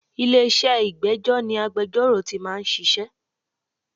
Ilé-iṣẹ́ ìgbẹ́jọ́ ni agbejọ́rò tí máa ń ṣiṣẹ́.